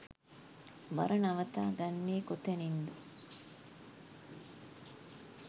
බර නවතා ගන්නේ කොතනින්ද?